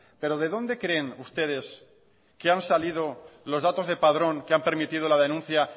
pero de dónde creen ustedes que han salido los datos de padrón que han permitido la denuncia